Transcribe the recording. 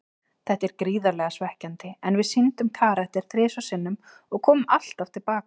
Þetta er gríðarlega svekkjandi, en við sýndum karakter þrisvar sinnum og komum alltaf til baka.